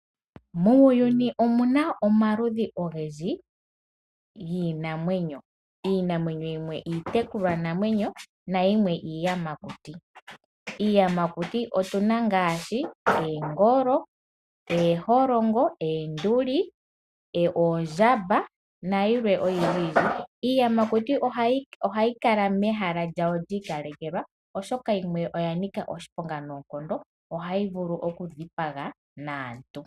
Muuyuni omuna omaludhi ogendji iinamwenyo. Iinamwenyo yimwe iitekulwanamwenyo nayimwe iiyamakuti. Iiyamakuti otuna ngaashi oongolo, ooholongo ,oonduli ,oondjamba nayilwe oyindji. Iiyamakuti ohayi kala mehala lyayo lyi ikalekelwa oshoka yimwe oyanika oshiponga noonkondo ohayi vulu oku dhipaga aantu.